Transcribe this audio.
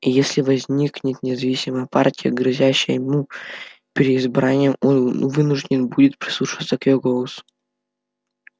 и если возникнет независимая партия грозящая ему переизбранием он вынужден будет прислушиваться к её голосу